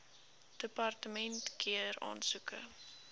departement keur aansoeke